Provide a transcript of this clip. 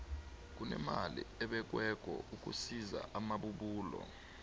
kunemali ebekweko ukusiza amabubulo